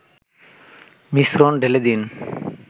মিশ্রণ ঢেলে দিন